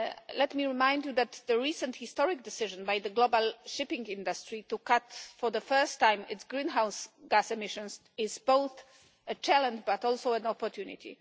Let me remind you that the recent historic decision by the global shipping industry to cut for the first time its greenhouse gas emissions is both a challenge but also an opportunity.